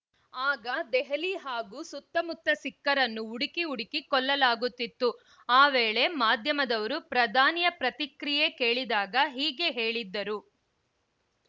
ಆಗ ದೆಹಲಿ ಹಾಗೂ ಸುತ್ತಮುತ್ತ ಸಿಖ್ಖರನ್ನು ಹುಡುಕಿ ಹುಡುಕಿ ಕೊಲ್ಲಲಾಗುತ್ತಿತ್ತು ಆ ವೇಳೆ ಮಾಧ್ಯಮದವರು ಪ್ರಧಾನಿಯ ಪ್ರತಿಕ್ರಿಯೆ ಕೇಳಿದಾಗ ಹೀಗೆ ಹೇಳಿದ್ದರು